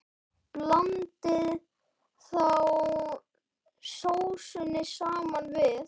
Blandið þá sósunni saman við.